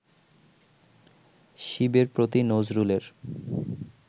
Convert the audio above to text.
শিবের প্রতি নজরুলের